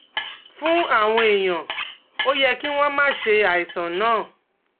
Fún àwọn èèyàn, ó yẹ kí wọ́n máa ṣe àìsàn náà